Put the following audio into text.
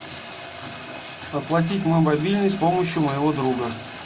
оплатить мой мобильный с помощью моего друга